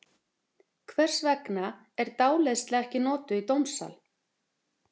Hvers vegna er dáleiðsla ekki notuð í dómsal?